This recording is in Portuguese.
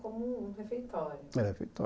Como um refeitório, refeitó